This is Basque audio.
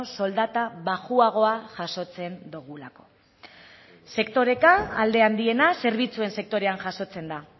soldata baxuagoa jasotzen dugulako sektoreka alde handiena zerbitzuen sektorean jasotzen da